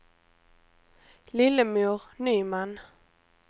Lillemor Nyman